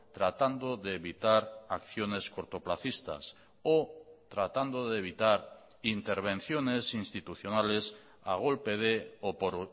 tratando de evitar acciones cortoplacistas o tratando de evitar intervenciones institucionales a golpe de o por